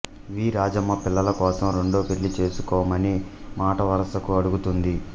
వి రాజమ్మ పిల్లలకోసం రెండో పెళ్ళి చేసుకోమని మాటవరుసకు అడుగుతుంది